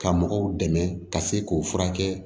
Ka mɔgɔw dɛmɛ ka se k'o furakɛ